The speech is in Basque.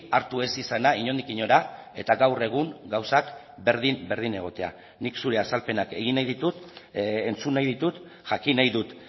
hartu ez izana inondik inora eta gaur egun gauzak berdin berdin egotea nik zure azalpenak egin nahi ditut entzun nahi ditut jakin nahi dut